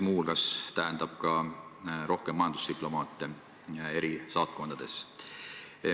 Muu hulgas tähendab see ka rohkem majandusdiplomaate eri saatkondades.